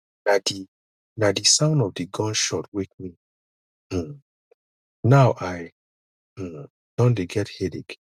na di na di sound of di gun shot wake me um now i um don dey get headache